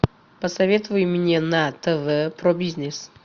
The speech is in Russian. посоветуй мне на тв про бизнес